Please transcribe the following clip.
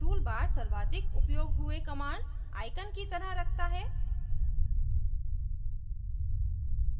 toolbar सर्वाधिक उपयोग हुए commands आईकन की तरह रखता है